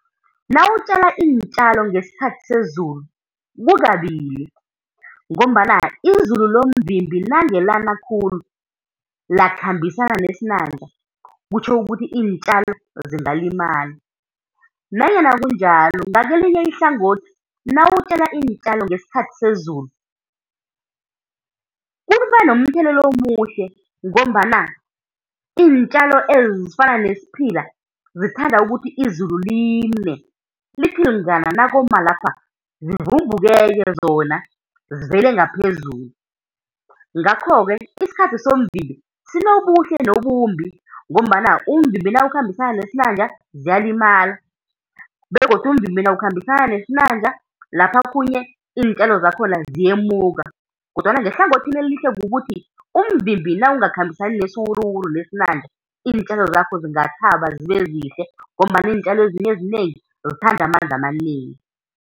Nawutjala iintjalo ngesikhathi sezulu kukabili, ngombana izulu lomvimbi nange lana khulu lakhambisana nesinanja kutjho ukuthi iintjalo zingalimala. Nanyana kunjalo, ngakelinye ihlangothi nawutjala iintjalo ngesikhathi sezulu kuba nomthelela omuhle, ngombana iintjalo ezifana nesiphila zithanda ukuthi izulu line, lithi lingana nakoma lapha zivumbuke-ke zona zivele ngaphezulu. Ngakho-ke isikhathi somvimbi sinobuhle nobumbi ngombana umvimbi nawukhambisana nesinanja ziyalimala, begodu umvimbi nawukhambisana nesinanja lapha okhunye iintjalo zakhona ziyemuka. Kodwana ngehlangothini elihle kukuthi umvimbi nawungakhambisani nesiwuruwuru nesinanja iintjalo zakho zingathaba zibe zihle, ngombana iintjalo ezinye ezinengi zithanda amanzi amanengi.